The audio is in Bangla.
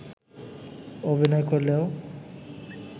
অভিনয় করলেও